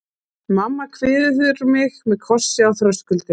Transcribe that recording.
Mamma kveður mig með kossi á þröskuldinum.